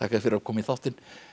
fyrir að koma í þáttinn